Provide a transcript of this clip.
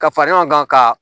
Ka fara ɲɔgɔn kan ka